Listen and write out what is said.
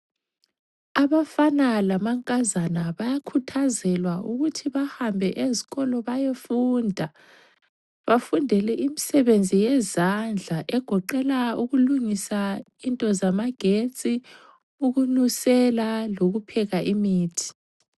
Abafana lamankazana bayakhuthazelwa ukuthi bahambe ezikolo bayefunda, bafundele imisebenzi yezandla egoqela ukulungisa into zamagetsi, ukunusela lokupheka imithi.